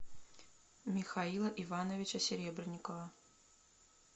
михаила ивановича серебренникова